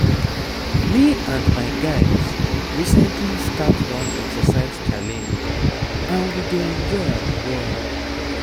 me and my guys recently start one exercise challenge and we dey enjoy am well.